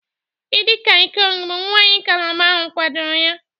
idi kang ikong bụ nwanyị calabar ahụ kwadoro ya